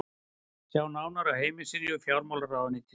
sjá nánar á heimasíðu fjármálaráðuneytisins